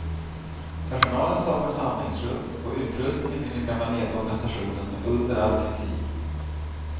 Personalen saknar samlingsrum och utrustningen i den gamla nedgågna stationen är under all kritik.